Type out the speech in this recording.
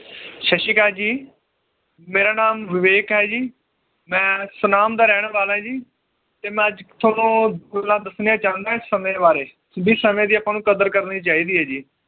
ਸਤ ਸ਼੍ਰੀ ਅਕਾਲ ਜੀ ਮੇਰਾ ਨਾਮ ਵਿਵੇਕ ਹੈ ਜੀ ਮੈ ਸਨਾਮ ਦਾ ਰਹਿਣ ਵਾਲਾ ਆ ਜੀ ਤੇ ਮੈ ਅੱਜ ਥੋਨੂੰ ਗੱਲਾਂ ਦੱਸਣੀਆਂ ਚਾਹੁੰਦਾ ਸਮੇ ਬਾਰੇ ਵੀ ਸਮੇ ਦੀ ਆਪਾਂ ਨੂੰ ਕਦਰ ਕਰਨੀ ਚਾਹੀਦੀ ਏ ਜੀ